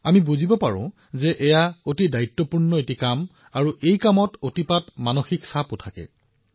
আমি বুজি পাওঁ যে এই কামটো কিমান দায়বদ্ধ আৰু ইয়াত কিমান মানসিক চাপ জড়িত আছে